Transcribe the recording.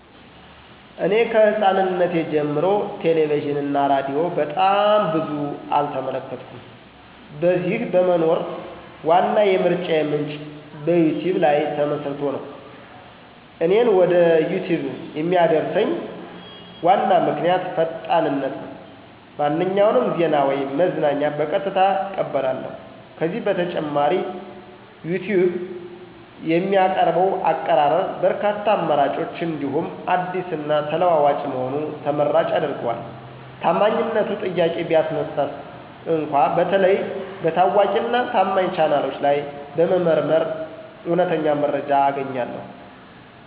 እኔ ከሕፃናትነቴ ጀምሮ ቲቪ እና ሬዲዮ በጣም ብዙ አልተመለከትኩም። በዚህ በመኖር ዋና የምርጫዬ ምንጭ በዩቲዩብ ላይ ተመስርቶ ነው። እኔን ወደ ዩቲዩብ የሚያደርሰኝ ዋና ምክንያት ፈጣንነት ነው፤ ማንኛውንም ዜና ወይም መዝናኛ በቀጥታ እቀበላለሁ። ከዚህ በተጨማሪ ዩቲዩብ የሚያቀርበው አቀራረብ በርካታ አማራጮች እንዲሁም አዲስ እና ተለዋዋጭ መሆኑ ተመራጭ ያደርገዋል። ታማኝነቱ ጥያቄ ቢያነሳስ እንኳ በተለይ በታዋቂ እና ታማኝ ቻናሎች ላይ በመመርመር እውነተኛ መረጃ አገኛለሁ።